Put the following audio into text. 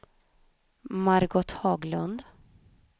Margot Haglund